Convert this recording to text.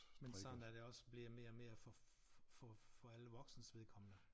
Men sådan er det også blevet mere og mere for for for alle voksnes vedkommende